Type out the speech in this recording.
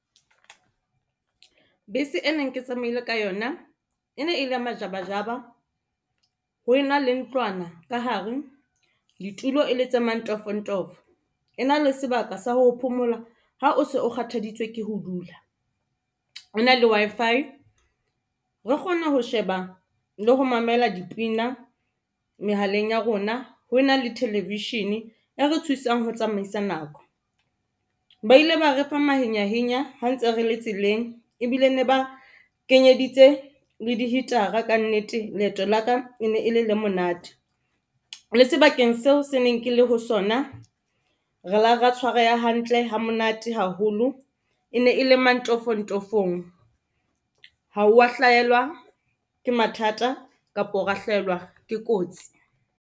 Bese e neng ke tsamaile ka yona e ne e le ya majabajaba. Ho na le ntlwana ka hare ditulo e le tse mantofontofo. E na le sebaka sa ho phomola ha o se o kgathaditswe ke ho dula, e na le Wi-Fi re kgona ho sheba le ho mamela dipina mehaleng ya rona ho na le television e re thusang ho tsamaisa nako. Ba ile ba re fa mahenyahenya ha ntse re le tseleng ebile ne ba kenyeditse le di hitara ka nnete leeto la ka e ne e le le monate. Le sebakeng seo ke neng ke le ho sona, re la ra tshwareha hantle ha monate haholo e ne e le mantofontofong, ha o wa hlahelwa ke mathata kapo ra hlahelwa ke kotsi.